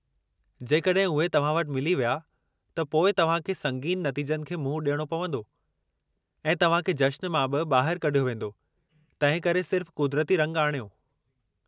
जेकॾहिं उहे तव्हां वटि मिली विया त पोइ तव्हां खे संगीन नतीजनि खे मुंहुं ॾियणो पंवदो ऐं तव्हां खे जश्न मां बि ॿाहिरि कढियो वेंदो, तंहिंकरे सिर्फ़ क़ुदिरती रंगु आणियो!